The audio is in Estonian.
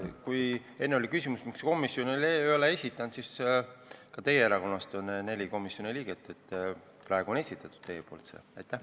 Kui enne oli küsimus, miks komisjon ei ole eelnõu esitanud, siis ütlen, et ka teie erakonnast on komisjonis neli liiget ja praegu on teie poolt see esitatud.